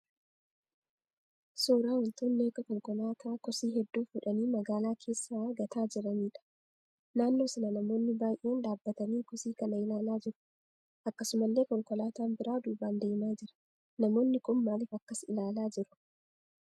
Suuraa wantoonni akka konkolaataa kosii hedduu fuudhanii magaalaa keessaa gataa jiraniidha. Naannoo sana namoonni baayyeen dhaabbatanii kosii kana ilaalaa jiru. Akkasumallee konkolaataan biraan duubaan deemaa jira. Namoonni kun maaliif akkas ilaalaa jiru?